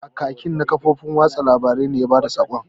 Kakaki na kafofin watsa labarai ne ya bada sakon.